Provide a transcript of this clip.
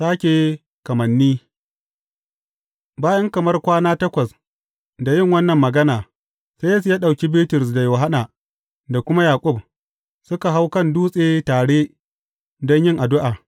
Sāke kamanni Bayan kamar kwana takwas da yin wannan magana, sai Yesu ya ɗauki Bitrus, da Yohanna, da kuma Yaƙub, suka hau kan dutse tare don yin addu’a.